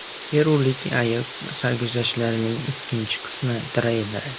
Perulik ayiq sarguzashtlarining ikkinchi qismi treyleri.